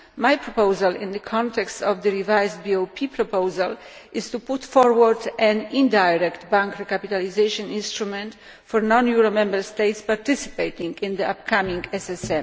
My proposal in the context of the revised BOP proposal is to put forward an indirect bank recapitalisation instrument for non euro Member States participating in the upcoming SSM.